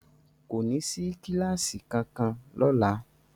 Kò ní sí kíláásì kankan lọ́la.